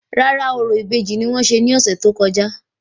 Rárá, orò ìbejì ni wọ́n ṣe ní ọ̀sẹ̀ tó kọjá